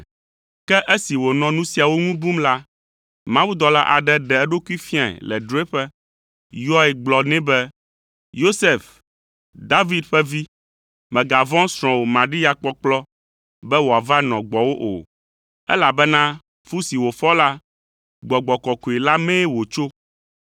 Ke esi wònɔ nu siawo ŋu bum la, mawudɔla aɖe ɖe eɖokui fiae le drɔ̃eƒe, yɔe gblɔ nɛ be, “Yosef, David ƒe vi, mègavɔ̃ srɔ̃wò Maria kpɔkplɔ be wòava nɔ gbɔwò o, elabena fu si wòfɔ la, Gbɔgbɔ Kɔkɔe la mee wòtso.